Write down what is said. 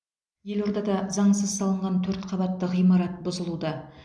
елордада заңсыз салынған төрт қабатты ғимарат бұзылуда